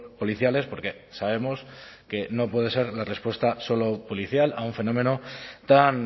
policiales porque sabemos que no puede ser una respuesta solo policial a un fenómeno tan